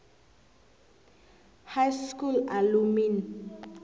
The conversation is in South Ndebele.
high school alumni